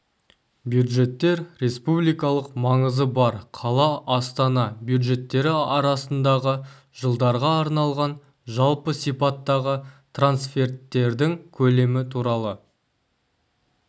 бюджеттер республикалық маңызы бар қала астана бюджеттері арасындағы жылдарға арналған жалпы сипаттағы трансферттердің көлемі туралы